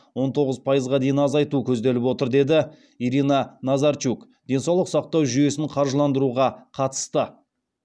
он тоғыз пайызға дейін азайту көзделіп отыр деді ирина назарчук денсаулық сақтау жүйесін қаржыландыруға қатысты